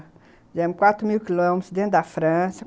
Fizemos quatro mil quilômetros dentro da França.